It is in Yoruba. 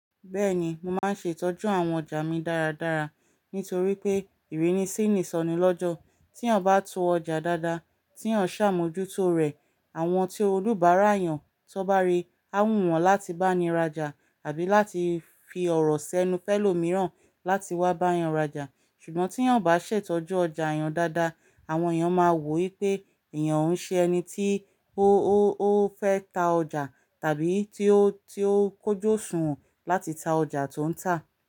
Bẹ́ẹ̀ni, mo máa ń ṣe ìtọ́jú àwọn ọjà mi dáradára nítorí pé ìrínisí nisọni lọ́jọ́. Tí eeyan bá to ọjà dáadáa, tí eeyan ṣàmójútó rẹ̀, àwọn tí olùbárà eeyàn tó bá rí, á wù wọ́n láti bá ni raja àbí láti fi ọ̀rọ̀ sẹ́nu fẹ́lọ́ mìíràn láti wá bá yàn raja. Ṣùgbọ́n tí eeyan o bá ṣètọ́jú ọjà eeyan dáadáa, àwọn èèyàn máa wò ó wipé èèyàn o ki ń ṣe ẹni tí ó fẹ́ ta ọjà tàbí tí ó kójú òsùnwọ́n láti ta ọjà tó ń tà.